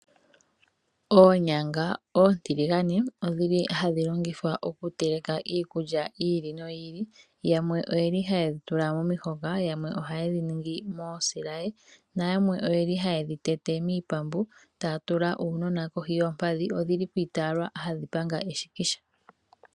Oonyanga oontiligane odhili hadhi longithwa oku teleka iikulya yiili noyiili, yamwe oyeli hayedhi tula momihoka , yamwe ohayedhi ningi moosilaye, nayamwe oyeli hayedhi tete miipambu etaya tula uunona kohi yoompadhi odhili dhiitaalwa hadhi panga eshikisha.